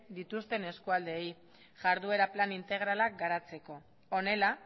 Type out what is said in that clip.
dituzten eskualdeei jarduera plan integralak garatzeko honela